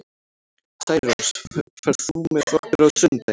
Særós, ferð þú með okkur á sunnudaginn?